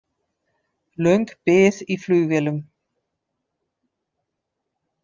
Löng bið í flugvélum